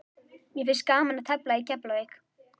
Mér finnst gaman að tefla í Keflavík.